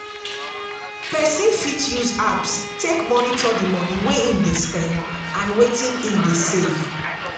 person fit use apps take monitor di money wey im dey spend and wetin im dey save